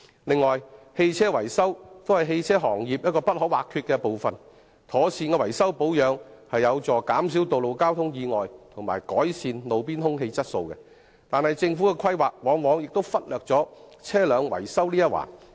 此外，車輛維修也是汽車行業一個不可或缺的部分，妥善的維修保養有助減少道路交通意外及改善路邊空氣質素，但政府的規劃卻往往忽略了車輛維修這一環。